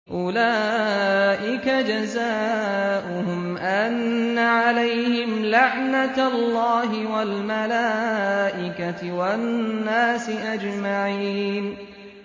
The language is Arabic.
أُولَٰئِكَ جَزَاؤُهُمْ أَنَّ عَلَيْهِمْ لَعْنَةَ اللَّهِ وَالْمَلَائِكَةِ وَالنَّاسِ أَجْمَعِينَ